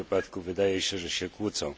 W tym wypadku wydaje się, że się kłócą.